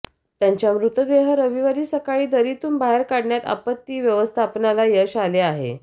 त्यांच्या मृतदेह रविवारी सकाळी दरीतून बाहेर काढण्यात आपत्ती व्यवस्थापनाला यश आले आहे